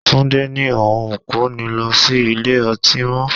Túndé ní òun kò ní lọ sí ilé-ọtí mó.